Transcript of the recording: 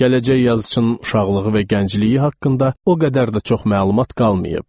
Gələcək yazıçının uşaqlığı və gəncliyi haqqında o qədər də çox məlumat qalmayıb.